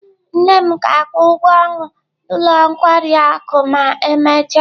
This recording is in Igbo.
Nne m ga-akwụ ụgwọ ọnụ ụlọ nkwari akụ ma emechaa.